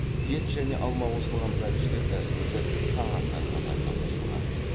ет және алма қосылған бәліштер дәстүрлі тағамдар қатарына қосылған